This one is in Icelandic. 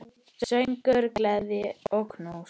Söngur, gleði og knús.